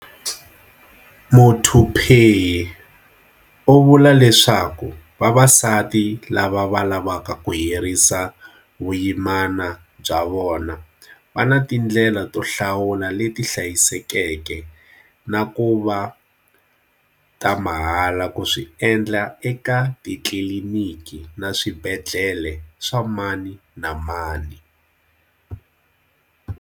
Muthuphei u vula leswaku vavasati lava va lavaka ku herisa vuyimana bya vona va ni tindlela to hlawula leti hlayisekeke na ku va ta mahala ku swi endla eka titliliniki na swibedhlele swa mani na mani.